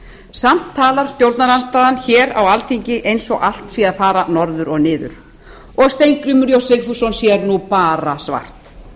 samt talar stjórnarandstaðan hér á alþingi eins og allt sé að fara norður og niður og steingrímur j sigfússon sér nú bara svart